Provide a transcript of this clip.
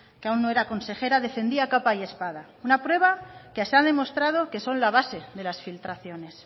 que aún no era consejera defendía a capa y espada una prueba que se ha demostrado que son la base de las filtraciones